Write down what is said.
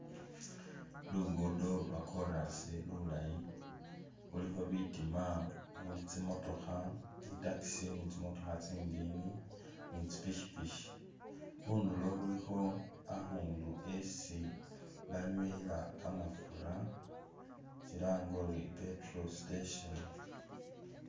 Lugudo lwa chorus lulayi, khulikho bitima muli tsimotookha ,i'taxi ni tsimotookha tsindini ni tsi pikyipikyi, khundulo khulikho akhundu esi banywela kamafura silange uri i'petrol Station